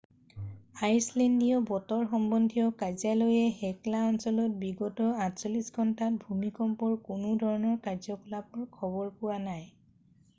আইচলেণ্ডীয় বতৰ সম্বন্ধীয় কাৰ্যালয়ে হেকলা অঞ্চলত বিগত 48 ঘণ্টাত ভূমিকম্পৰ কোনো ধৰণৰ কাৰ্যকলাপৰ খবৰ পোৱা নাই